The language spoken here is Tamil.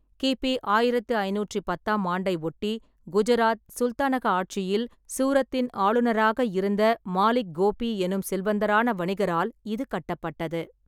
கி. பி. ஆயிரத்து ஐநூற்றி பத்தாம் ஆண்டை ஒட்டி குஜராத் சுல்தானக ஆட்சியில் சூரத்தின் ஆளுநராக இருந்த மாலிக் கோபி எனும் செல்வந்தரான வணிகரால் இது கட்டப்பட்டது.